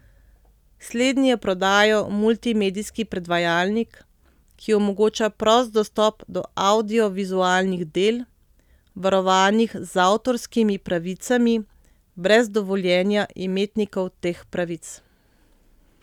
Slednji je prodajal multimedijski predvajalnik, ki omogoča prost dostop do avdiovizualnih del, varovanih z avtorskimi pravicami, brez dovoljenja imetnikov teh pravic.